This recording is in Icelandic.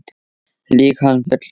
Lýg hann fullan